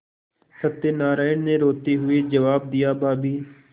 सत्यनाराण ने रोते हुए जवाब दियाभाभी